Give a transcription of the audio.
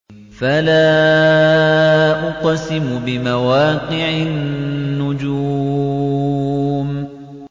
۞ فَلَا أُقْسِمُ بِمَوَاقِعِ النُّجُومِ